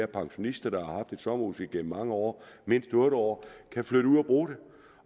pensionister der har haft et sommerhus igennem mange år mindst otte år kan flytte ud og bruge det